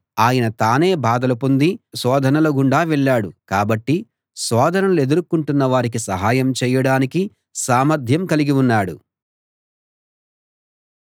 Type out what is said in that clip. ఆయన తానే బాధలు పొంది శోధనల గుండా వెళ్ళాడు కాబట్టి శోధనలనెదుర్కొంటున్న వారికి సహాయం చేయడానికి సామర్ధ్యం కలిగి ఉన్నాడు